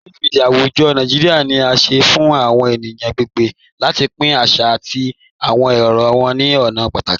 Tunbit, mídia àwùjọ̀ Nàìjíríà, ni à sẹ fun àwọn ènìyàn agbègbè láti pín àṣà àti àwọn èrò wọn ni ọ̀nà pátàkì.